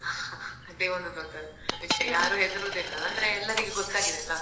ಅದೇ ಒಂದು ದೊಡ್ಡ ವಿಷಯ ಅಂದ್ರೆ ಎಲ್ಲರಿಗೂ ಗೊತ್ತಾಗಿದೆ ಅಲ್ಲಾ